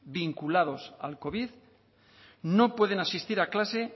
vinculados al covid no pueden asistir a clase